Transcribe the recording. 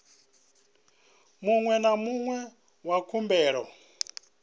muṅwe na muṅwe wa khumbelo